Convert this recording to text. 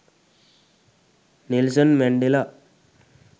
nelson mandela